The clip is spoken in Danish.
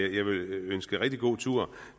ønske rigtig god tur